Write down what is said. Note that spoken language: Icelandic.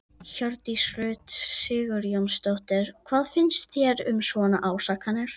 Hjördís Rut Sigurjónsdóttir: Hvað finnst þér um svona ásakanir?